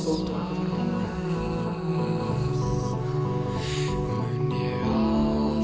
við